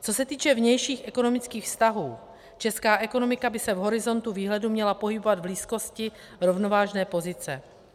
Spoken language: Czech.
Co se týče vnějších ekonomických vztahů, česká ekonomika by se v horizontu výhledu měla pohybovat v blízkosti rovnovážné pozice.